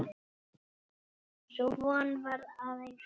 Sú von varð að engu.